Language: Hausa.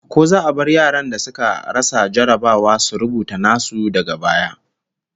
Ko za a bar yaran da suka rasa jarrabawa su rubuta nasu daga baya?